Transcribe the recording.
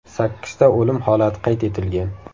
Sakkizta o‘lim holati qayd etilgan.